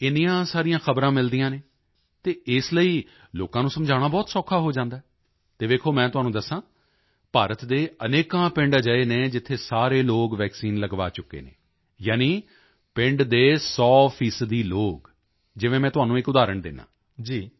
ਇੰਨੀਆਂ ਸਾਰੀਆਂ ਖ਼ਬਰਾਂ ਮਿਲਦੀਆਂ ਹਨ ਅਤੇ ਇਸ ਲਈ ਲੋਕਾਂ ਨੂੰ ਸਮਝਾਉਣਾ ਬਹੁਤ ਸੌਖਾ ਹੋ ਜਾਂਦਾ ਹੈ ਅਤੇ ਵੇਖੋ ਮੈਂ ਤੁਹਾਨੂੰ ਦੱਸਾਂ ਭਾਰਤ ਦੇ ਅਨੇਕਾਂ ਪਿੰਡ ਅਜਿਹੇ ਹਨ ਜਿੱਥੇ ਸਾਰੇ ਲੋਕ ਵੈਕਸੀਨ ਲਗਵਾ ਚੁੱਕੇ ਹਨ ਯਾਨੀ ਪਿੰਡ ਦੇ 100 ਫੀਸਦੀ ਲੋਕ ਜਿਵੇਂ ਮੈਂ ਤੁਹਾਨੂੰ ਇਕ ਉਦਾਹਰਣ ਦਿੰਦਾ ਹਾਂ